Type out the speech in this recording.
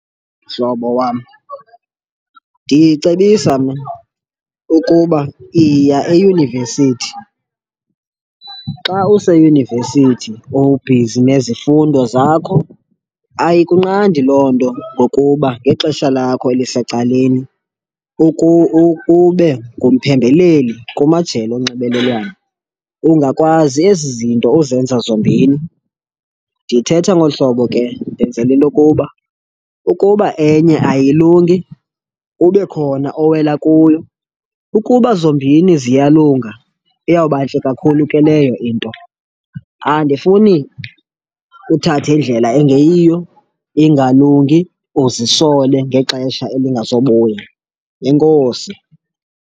Mhlobo wam, ndicebisa mna ukuba yiya eyunivesithi. Xa useyunivesithi ubhizi nezifundo zakho ayikunqandi loo nto ngokuba ngexesha lakho elisecaleni ube ngumphembeleli kumajelo onxibelelwano, ungakwazi ezi zinto uzenza zombini. Ndithetha ngolu hlobo ke ndenzela intokuba ukuba enye ayilungi, kube khona owela kuyo. Ukuba zombini ziyalunga iyawuba ntle kakhulu ke leyo into. Andifuni uthathe indlela engeyiyo ingalungi, uzisole ngexesha elingazobuya. Enkosi.